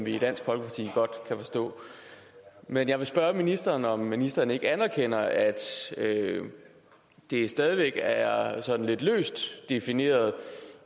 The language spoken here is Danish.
vi i dansk folkeparti godt kan forstå men jeg vil spørge ministeren om ministeren ikke anerkender at det stadig væk er sådan lidt løst defineret